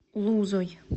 лузой